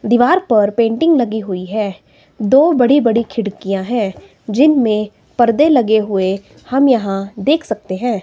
दीवार पर पेंटिंग लगी हुई है दो बड़ी बड़ी खिड़कियां है जिनमें पर्दे लगे हुए हम यहां देख सकते हैं।